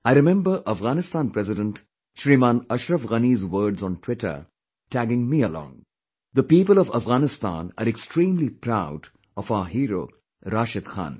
I remember Afghanistan President Shriman Ashraf Ghani's words on Twitter tagging me along "The people of Afghanistan are extremely, proud of our hero Rashid Khan